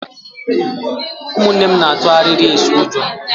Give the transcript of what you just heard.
Ụmụnne m na-atu arịrị eso ụjọ.